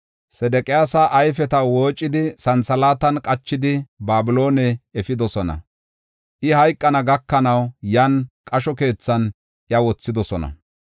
Sedeqiyaasa ayfeta woocidi, santhalaatan qachidi, Babiloone efidosona. I hayqana gakanaw, yan qasho keethan iya wothidosona.